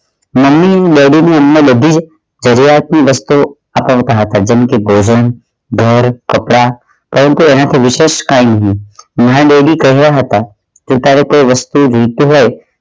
બધી જરૂરીયાત ની વસ્તુ અપાવતા હતા જેમ કે ભોજન ઘર કપડાં પરંતુ એના થી વિશેષ કાઇ નહિ મારા daddy કહ્યા હતા કે તારે કોઈ વસ્તુ જોઈતી હોય